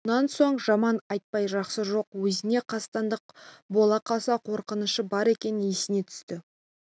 онан соң жаман айтпай жақсы жоқ өзіне қастандық бола қалса қорғанышы бар екені есіне түсті